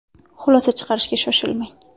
Xulosa chiqarishga shoshilmang!